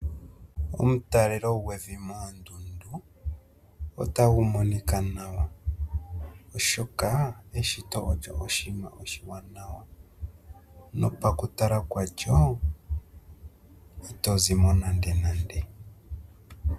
Omutalelo gwevi moondundu otagu monika nawa, oshoka eshito olyo oshinima oshiwanawa nopaku tala kwalyo Ito zimo nandenande.